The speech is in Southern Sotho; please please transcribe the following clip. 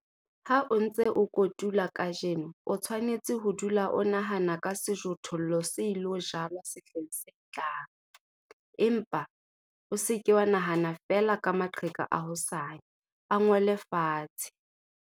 Ha o ntse o kotula kajeno o tshwanetse ho dula o nahana ka sejothollo se ilo jalwa sehleng se tlang. Empa, o se ke wa nahana feela ka maqheka a hosane, a ngole fatshe.